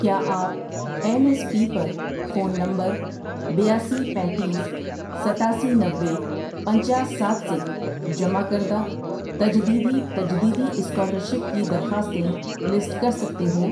کیا آپ N S P پر فون نمبر بیاسی، پینتیس، ستاسی، نوے، پنچاس، سات سے جمع کردہ تجدیدی تجدیدی اسکالرشپ کی درخواستیں لسٹ کر سکتے ہو؟